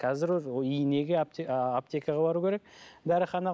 қазір уже инеге аптекаға бару керек дәріхана